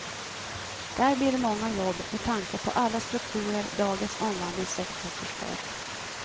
Där blir det många jobb, med tanke på alla strukturer dagens omvandlingssektor förstör.